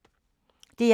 DR1